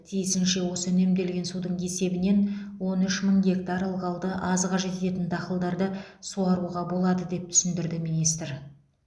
тиісінше осы үнемделген судың есебінен он үш мың гектар ылғалды аз қажет ететін дақылдарды суаруға болады деп түсіндірді министр